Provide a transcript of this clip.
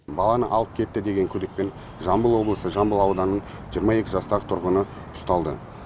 баланы алып кетті деген күдікпен жамбыл облысы жамбыл ауданының жиырма екі жастағы тұрғыны ұсталды